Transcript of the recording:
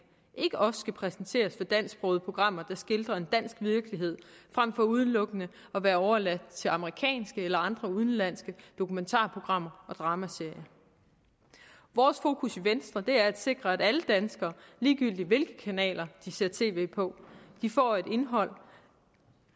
ikke også skal præsenteres for dansksprogede programmer der skildrer en dansk virkelighed frem for udelukkende at være overladt til amerikanske eller andre udenlandske dokumentarprogrammer og dramaserier vores fokus i venstre er at sikre at alle danskere ligegyldigt hvilke kanaler de ser tv på får et indhold